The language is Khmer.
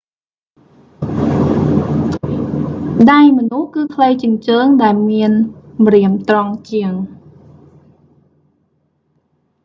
ដៃមនុស្សគឺខ្លីជាងជើងដែលមានម្រាមត្រង់ជាង